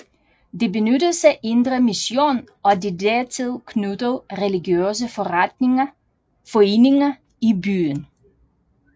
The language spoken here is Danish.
Det benyttes af Indre Mission og de dertil knyttede religiøse foreninger i byen